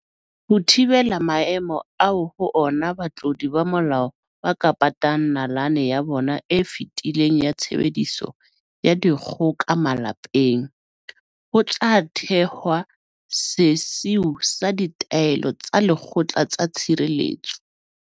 Ho thi-bela maemo ao ho ona batlodi ba molao ba ka patang nalane ya bona e fetileng ya tshebediso ya dikgoka malapeng, ho tla thehwa sesiu sa ditaelo tsa lekgotla tsa tshireletso.